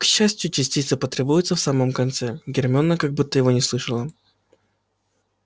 к счастью частицы потребуются в самом конце гермиона как будто его не слышала